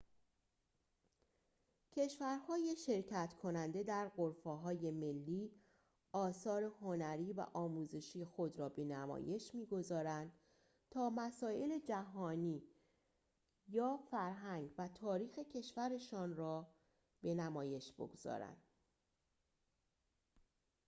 کشورهای شرکت‌کننده در غرفه‌های ملی آثار هنری و آموزشی خود را به نمایش می‌گذارند تا مسائل جهانی یا فرهنگ و تاریخ کشورشان را به نمایش بگذارند